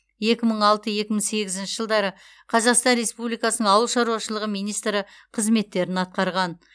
екі мың алты екі мың сегізінші жылдары қазақстан республикасының ауыл шаруашылығы министрі қызметтерін атқарған